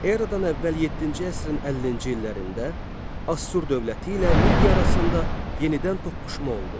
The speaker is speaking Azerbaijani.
Eradan əvvəl 7-ci əsrin 50-ci illərində Assur dövləti ilə Midiya arasında yenidən toqquşma oldu.